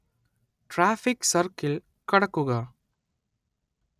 traffic circle കടക്കുക